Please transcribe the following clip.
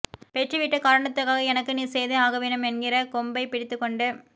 பெற்று விட்ட காரணத்துக்காக எனக்கு நீ செய்தே ஆகவேண்டும் என்கிற கொம்பை பிடித்து கொண்டு